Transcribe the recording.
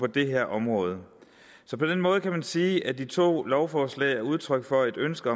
det her område på den måde kan man sige at de to lovforslaget udtryk for et ønske